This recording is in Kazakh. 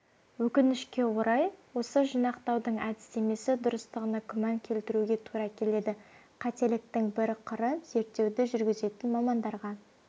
өкінішке орай осы жинақтаудың әдістемесі дұрыстығына күмән келтіруге тура келеді қателіктің бір қыры зерттеуді жүргізетін мамандарға